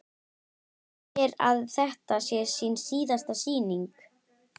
Segir að þetta sé sín síðasta sýning.